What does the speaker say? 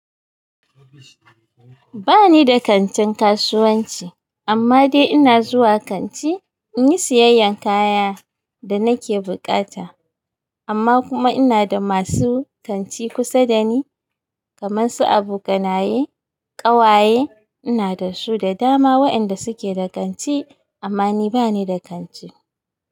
Ba ni da kantin kasuwanci amma dai ina zuwa kanti in yi siyayyan kayan da nake buƙata. Amma kuma ina da masu kanti kusa da ni kamar su abokanaye, ƙawaye ina da su da dama wa inda su ke da kanti amma ni bani da kanti.